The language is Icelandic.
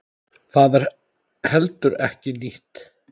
Það er heldur ekki nýtt.